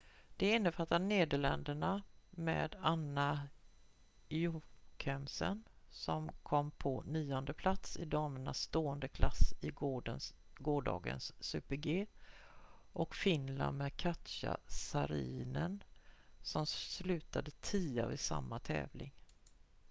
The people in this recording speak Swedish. de innefattar nederländerna med anna jochemsen som kom på nionde plats i damernas stående klass i gårdagens super-g och finland med katja saarinen som slutade tia vid samma tävling